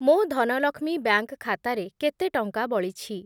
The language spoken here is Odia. ମୋ ଧନଲକ୍ଷ୍ମୀ ବ୍ୟାଙ୍କ୍‌ ଖାତାରେ କେତେ ଟଙ୍କା ବଳିଛି?